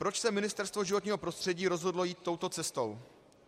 Proč se Ministerstvo životního prostředí rozhodlo jít touto cestou?